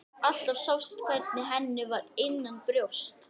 Alltaf sást hvernig henni var innanbrjósts.